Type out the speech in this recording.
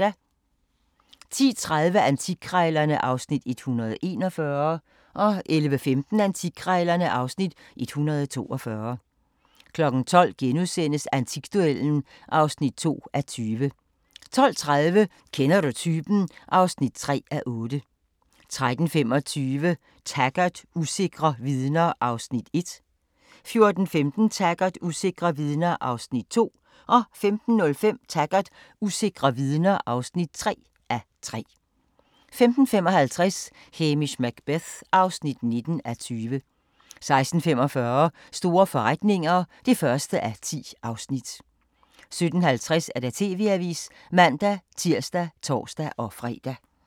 10:30: Antikkrejlerne (Afs. 141) 11:15: Antikkrejlerne (Afs. 142) 12:00: Antikduellen (2:20)* 12:30: Kender du typen? (3:8) 13:25: Taggart: Usikre vidner (1:3) 14:15: Taggart: Usikre vidner (2:3) 15:05: Taggart: Usikre vidner (3:3) 15:55: Hamish Macbeth (19:20) 16:45: Store forretninger (1:10) 17:50: TV-avisen (man-tir og tor-fre)